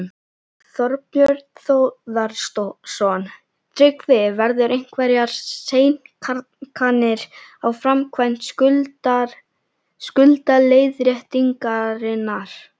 Þorbjörn Þórðarson: Tryggvi, verða einhverjar seinkanir á framkvæmd skuldaleiðréttingarinnar?